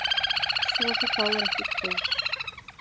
Svo þú fáir ekki kvef